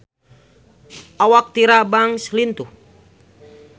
Awak Tyra Banks lintuh